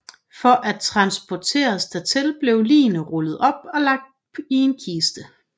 For at transporteres dertil blev ligene rullet op og lagt i en kiste